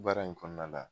Baara in kɔnɔna la